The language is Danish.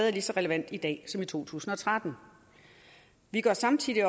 er lige så relevant i dag som i to tusind og tretten vi gør samtidig